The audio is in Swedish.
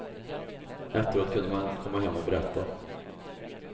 Efteråt kunde man komma hem och berätta.